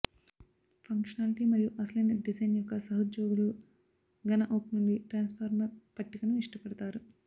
functionality మరియు అసలైన design యొక్క సహోద్యోగులు ఘన ఓక్ నుండి ట్రాన్స్ఫార్మర్ పట్టికను ఇష్టపడతారు